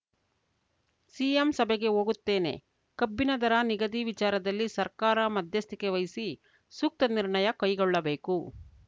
CM ಸಭೆಗೆ ಹೋಗುತ್ತೇನೆ ಕಬ್ಬಿನ ದರ ನಿಗದಿ ವಿಚಾರದಲ್ಲಿ ಸರ್ಕಾರ ಮಧ್ಯಸ್ಥಿಕೆ ವಹಿಸಿ ಸೂಕ್ತ ನಿರ್ಣಯ ಕೈಗೊಳ್ಳಬೇಕು